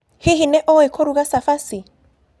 Hihi nĩ ũĩ kũruga cabaci?